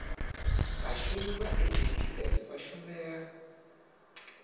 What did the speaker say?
vhashumi vha saps vha shumela